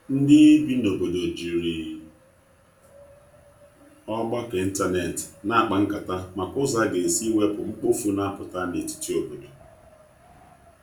ndi ibi na obodo jiri ọgbako ịntanetị na akpa nkata maka ụzọ aga esi iwepụ mkpofu na aputa n'etiti obodo